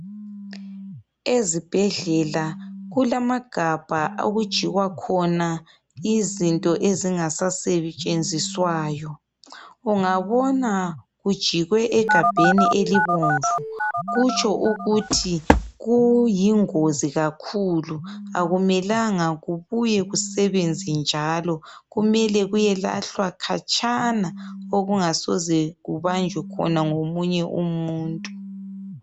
Ezibhedlela kulamagabha okujikwa khona izinto ezingasasetshenziswayo. Ungabona kujikwe egabheni elibomvu kutsho ukuthi kuyingozi kakhulu akumelanga kubuye kusebenze njalo kumele kuyelahlwa khatshana okungasoze kubanjwe khona ngomunye umuntu.